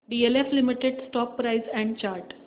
DLF limited stock price and chart